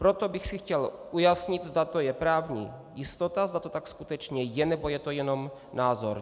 Proto bych si chtěl ujasnit, zda to je právní jistota, zda to tak skutečně je, nebo je to jenom názor.